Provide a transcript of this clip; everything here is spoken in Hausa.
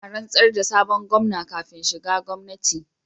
Ina rantsar da sabon Gomna kafin shiga gwamnati